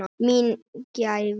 Mín var gæfan.